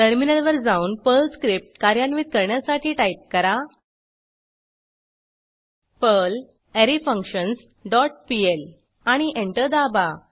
टर्मिनलवर जाऊन Perl script कार्यान्वित करण्यासाठी टाईप करा पर्ल अरेफंक्शन्स डॉट पीएल आणि एंटर दाबा